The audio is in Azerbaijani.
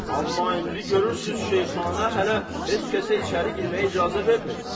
Amma indi görürsüz, şeyxana hələ heç kəsə içəri girməyə icazə vermir.